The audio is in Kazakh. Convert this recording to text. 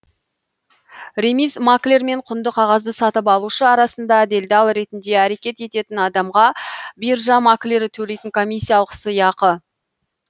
ремиз маклер мен құнды қағазды сатып алушы арасында делдал ретінде әрекет ететін адамға биржа маклері төлейтін комиссиялық сыйақы